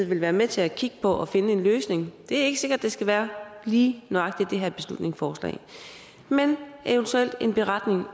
vil være med til at kigge på at finde en løsning det er ikke sikkert at det skal være lige nøjagtig det her beslutningsforslag men en beretning